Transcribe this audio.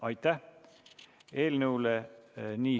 Aitäh!